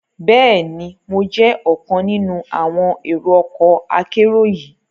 Bẹẹni, Mo jẹ ọkan ninu àwọn èrò ọkọ akero yii